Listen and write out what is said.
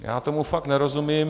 Já tomu fakt nerozumím.